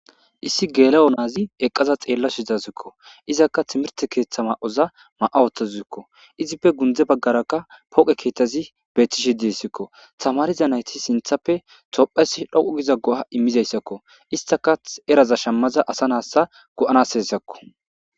Issi geela'o naazi eqqaza xeella su hizazikko izakka timirte keeththa ma'oza ma'awotta zuikko izippe gundze baggarakka pooqe keeththazi betishi diessikko tamariza nayti sinthappe tophes dhoqu giza goha immizayssakko istaka eraza shammaza asa nassa go7anas hessakko.